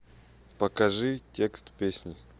покажи текст песни